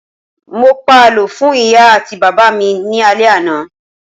Mo pa àlọ́ fún ìyá àti bàbá mi ní alẹ àná.